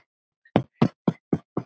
Ég verð að fela mig.